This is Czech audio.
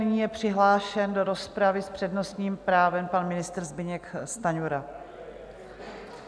Nyní je přihlášen do rozpravy s přednostním právem pan ministr Zbyněk Stanjura.